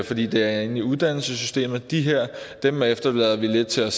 fordi de er inde i uddannelsessystemet at dem her efterlader vi lidt til sig